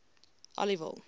aliwal